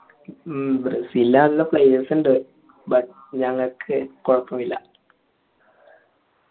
മ്മ് ബ്രസീലിൻ്റെ ന്ല്ല players ഉണ്ട് but ഞങ്ങൾക്ക് കൊഴപ്പമില്ല